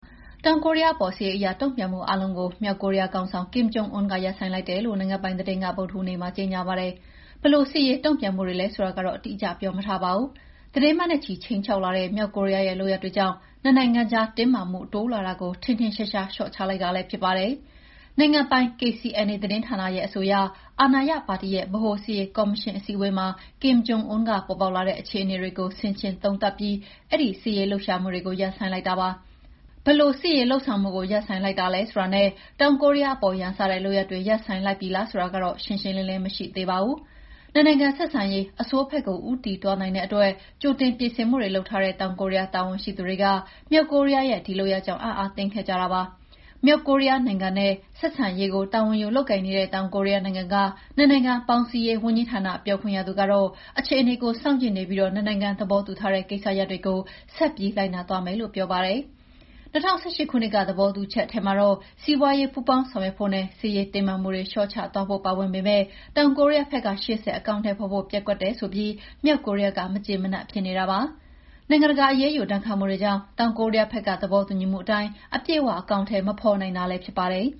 တောင်ကိုရီးယားအပေါ် စစ်ရေးအရ တုံ့ပြန်မှုအားလုံးကို မြောက်ကိုရီးယားခေါင်းဆောင် ကင်မ်ဂျုံအွန်းက ရပ်ဆိုင်းလိုက်တယ်လို့ နိုင်ငံပိုင်သတင်းက ဗုဒ္ဓဟူးနေ့မှာ ကြေငြာပါတယ်။ ဘယ်လို စစ်ရေးတုံ့ပြန်မှုတွေလည်း ဆိုတာကိုတော့ အတိအကျပြောမထားပါဘူး။ သီတင်းပတ်နဲ့ချီ ခြိမ်းချောက်လာတဲ့ မြောက်ကိုရီးယားရဲ့ လုပ်ရပ်တွေကြောင့် နှစ်နိုင်ငံကြားတင်းမာမှု တိုးလာတာကို ထင်ထင်ရှားရှား လေ ျှာ့ချလိုက်တာလည်း ဖြစ်ပါတယ်။ နိုင်ငံပိုင် KCNA သတင်းဌာနရဲ့ အဆိုအရ အာဏာရပါတီရဲ့ ဗဟိုစစ်ရေးကော်မရှင်အစည်းအဝေးမှာ Kim Jong Un က ပေါ်ပေါက်လာတဲ့အခြေအနေတွေကို ဆင်ခြင်သုံးသပ်ပြီး အဲဒီစစ်ရေးလှုပ်ရှားမှုတွေကို ရပ်ဆိုင်းလိုက်တာပါ။ ဘယ်လို စစ်ရေးလုပ်ဆောင်မှုကို ရပ်ဆိုင်းလိုက်တာလဲဆိုတာနဲ့ တောင်ကိုရီးယားအပေါ် ရန်စတဲ့လုပ်ရပ်တွေ ရပ်ဆိုင်းလိုက်ပြီလားဆိုတာကတော့ ရှင်းရှင်းလင်းလင်းမရှိသေးပါဘူး။ နှစ်နိုင်ငံဆက်ဆံရေး အဆိုးဘက်ကို ဦးတည်သွားနိုင်တဲ့အတွက် ကြိုတင်ပြင်ဆင်မှုတွေ လုပ်ထားတဲ့ တောင်ကိုရီးယား တာဝန်ရှိသူတွေက မြောက်ကိုရီးယားရဲ့ ဒီလုပ်ရပ်ကြောင့် အံ့အားသင့်ခဲ့ကြတာပါ။ မြောက်ကိုရီးယားနိုင်ငံနဲ့ ဆက်ဆံရေးကို တာဝန်ယူလုပ်ကိုင်နေတဲ့ တောင်ကိုရီးယားနိုင်ငံကနှစ်နိုင်ငံပေါင်းစည်းရေးဝန်ကြီးဌာန ပြောခွင့်ရသူကတေ့ာ အခြေအနေကို စောင့်ကြည့်နေပြီး နှစ်နိုင်ငံသဘောတူထားတဲ့ ကိစ္စရပ်တွေကို ဆက်ပြီး လိုက်နာသွားမယ်လို့ပြောပါတယ်။ ၂၀၁၈ ခုနှစ်က သဘောတူချက်ထဲမှာတော့ စီးပွားရေးပူးပေါင်းဆောင်ရွက်ဖို့နဲ့ စစ်ရေးတင်းမာမှုတွေလေ ျှာ့ချသွားဖို့ ပါဝင်ပေမယ့် တောင်ကိုရီးယားဘက်က ရှေ့ဆက်အကောင်အထည်ဖော်ဖို့ ပျက်ကွက်တယ်ဆိုပြီး မြောက်ကိုရီးယားက မကျေမနပ်ဖြစ်နေတာပါ။ နိုင်ငံတကာအရေးယူ ဒဏ်ခတ်မှုတွေကြောင့် တောင်ကိုရီးယားဘက်က သဘောတူညီမှုအတိုင်း အပြည့်အ၀ အကောင်အထည် မဖော်နိုင်တာလည်းဖြစ်ပါတယ်